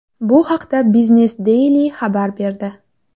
Bu haqda Biznes-Daily xabar berdi .